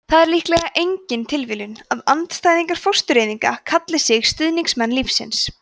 það er líklega engin tilviljun að andstæðingar fóstureyðinga kalli sig stuðningsmenn lífsins